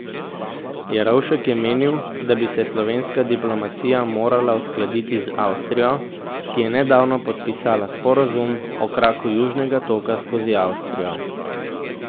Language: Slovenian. Jerovšek je menil, da bi se slovenska diplomacija morala uskladiti z Avstrijo, ki je nedavno podpisala sporazum o kraku Južnega toka skozi Avstrijo.